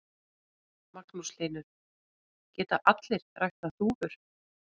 Magnús Hlynur: Geta allir ræktað dúfur?